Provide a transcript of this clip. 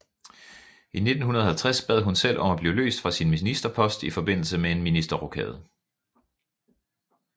I 1950 bad hun selv om at blive løst fra sin ministerpost i forbindelse med en ministerrokade